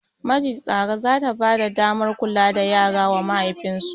Majistare zata bada damar kula da yara wa mahaifin su